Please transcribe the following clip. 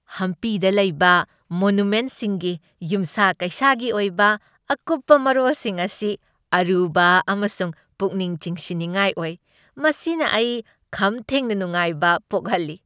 ꯍꯝꯄꯤꯗ ꯂꯩꯕ ꯃꯣꯅꯨꯃꯦꯟꯠꯁꯤꯡꯒꯤ ꯌꯨꯝꯁꯥ ꯀꯩꯁꯥꯒꯤ ꯑꯣꯏꯕ ꯑꯀꯨꯞꯄ ꯃꯔꯣꯜꯁꯤꯡ ꯑꯁꯤ ꯑꯔꯨꯕ ꯑꯃꯁꯨꯡ ꯄꯨꯛꯅꯤꯡ ꯆꯤꯡꯁꯤꯟꯅꯤꯡꯉꯥꯏ ꯑꯣꯏ, ꯃꯁꯤꯅ ꯑꯩ ꯈꯝꯊꯦꯡꯅ ꯅꯨꯡꯉꯥꯏꯕ ꯄꯣꯛꯍꯜꯂꯤ꯫